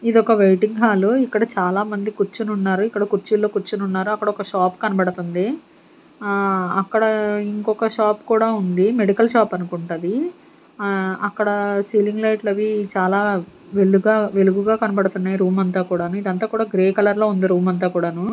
ఇదొక waiting hall ఇక్కడ చాలామంది కూర్చుని ఉన్నారు. ఇక్కడ కుర్చుల్లో కూర్చుని ఉన్నారు అక్కడ ఒక షాప్ కనబడుతుంది. ఆ అక్కడ ఇంకొక షాప్ కూడా ఉంది మెడికల్ షాప్ అనుకుంటా అది. ఆ అక్కడ సీలింగ్ లైట్లు అవి చాలా వెలుగా వెలుగుగా కనబడుతున్నాయి రూమ్ అంతా కూడాను ఇదంతా కూడా గ్రే కలర్ లో ఉంది రూమ్ అంతా కూడాను.